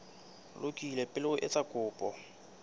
lokile pele o etsa kopo